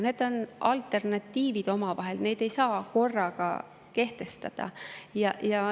Need on omavahel alternatiivid, neid ei saa korraga kehtestada.